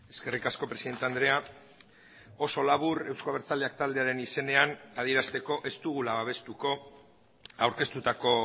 eskerrik asko presidente andrea oso labur euzko abertzaleak taldearen izenean adierazteko ez dugula babestuko aurkeztutako